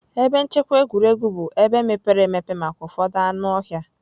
Ebe nchekwa egwuregwu bụ ebe mepere emepe maka ụfọdụ anụ ọhịa